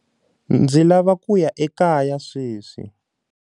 Ndzi lava ku ya ekaya sweswi.